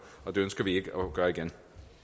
og det ønsker vi ikke at gøre igen